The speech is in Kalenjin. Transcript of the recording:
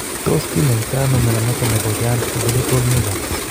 Tos kinyaito ano mnyondo noton nebo Giant congenital nevus